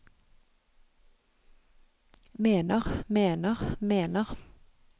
mener mener mener